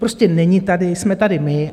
Prostě není tady, jsme tady my.